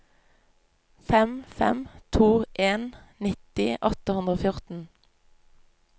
fem fem to en nitti åtte hundre og fjorten